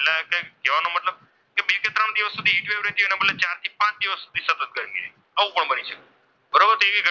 ચારથી પાંચ દિવસ સુધી સતત ગરમી રહે આવો પણ બની શકે બરોબર?